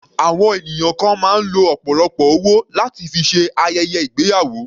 Àwọn ènìyàn kan máa ń lo ọ̀pọ̀lọpọ̀ owó láti fi ṣe ayẹyẹ ìgbéyàwó.